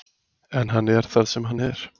En hann er þar sem hann er.